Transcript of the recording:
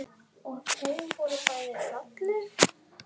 Og þau voru bæði falleg.